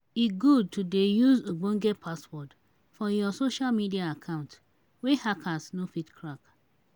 e good to dey use ogbonge password for your social media account wey hackers no fit crack.